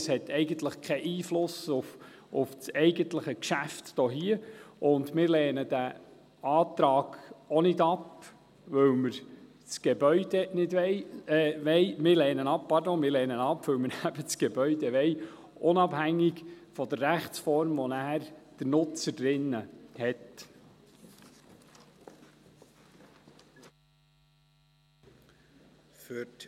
Es hat eigentlich keinen Einfluss auf das eigentliche Geschäft, und wir lehnen diesen Antrag auch ab, weil wir das Gebäude wollen, unabhängig davon, welche Rechtsform der Nutzer darin haben wird.